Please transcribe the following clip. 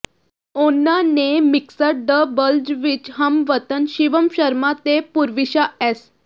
ਉਨ੍ਹਾਂ ਨੇ mixed doubles ਵਿਚ ਹਮਵਤਨ ਸ਼ਿਵਮ ਸ਼ਰਮਾ ਤੇ ਪੂਰਵਿਸ਼ਾ ਐੱਸ